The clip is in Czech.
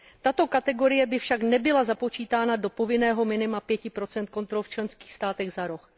Tato kategorie by však nebyla započítána do povinného minima 5 kontrol v členských státech za rok.